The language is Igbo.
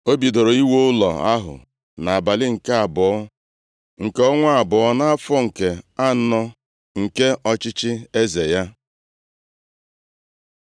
O bidoro iwu ụlọ ahụ nʼabalị nke abụọ, nke ọnwa abụọ, nʼafọ nke anọ, nke ọchịchị eze ya.